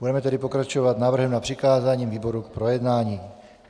Budeme tedy pokračovat návrhem na přikázání výborům k projednání.